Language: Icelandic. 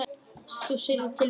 Ég syrgði tilveru mína.